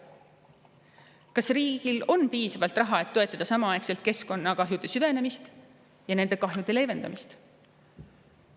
Kas riigil on piisavalt raha, et toetada samaaegselt keskkonnakahjude süvenemist ja nende kahjude leevendamist?